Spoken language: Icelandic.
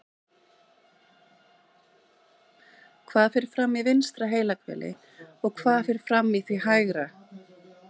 Hvað fer fram í vinstra heilahveli og hvað fer fram í því hægra?